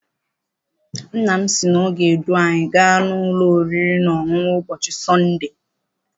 Nna m sị na ọ ga- edu anyị gaa n'ụlọ oriri na ọṅụṅụ ụbọchị Sọnde.